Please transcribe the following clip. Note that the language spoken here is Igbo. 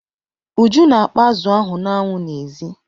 Uju na-akpọ azụ ahụ n'anwụ n'èzí.